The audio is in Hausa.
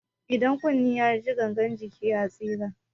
Idan kunne ya ji, gangan jiki ya tsira.